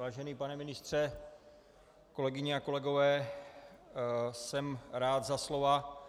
Vážený pane ministře, kolegyně a kolegové, jsem rád za slova,